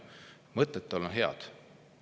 Mõtted tal on head!